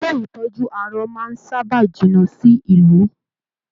Ilé ìtọjú arọ máa n sábà jìnnà sí ìlú.